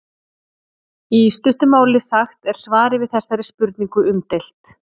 í stuttu máli sagt er svarið við þessari spurningu umdeilt